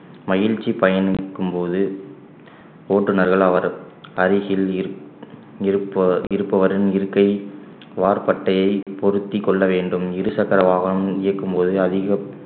மகிழ்ச்சி பயனிக்கும் போது ஓட்டுனர்கள் அவர் அருகில் இரு~ இருப்ப~ இருப்பவரின் இருக்கை வார் பட்டையை பொருத்திக் கொள்ள வேண்டும் இருசக்கர வாகனம் இயக்கும்போது அதிக